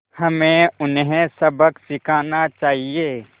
हमें उन्हें सबक सिखाना चाहिए